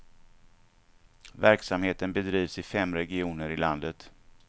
Verksamheten bedrivs i fem regioner i landet.